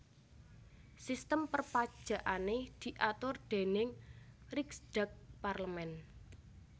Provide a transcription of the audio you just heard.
Sistem perpajakané diatur déning Riksdag parlemen